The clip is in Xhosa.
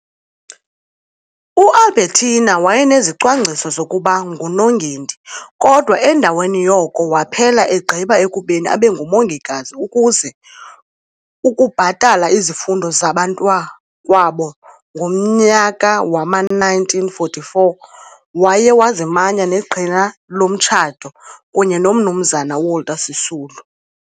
U-Albertina wayenezicwangciso zokuba nguNongendi, kodwa endaweni yoko waphela egqiba ekubeni abe ngumongikazi ukuze ukubhatala izifundo zabantakwabo. Ngomnyaka wama-1944 waye wazimanya ngeqhina lomtshato kunye noMnumzana uWalter Sisulu.